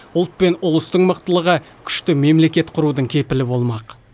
ұлт пен ұлыстың мықтылығы күшті мемлекет құрудың кепілі болмақ